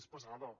és pesada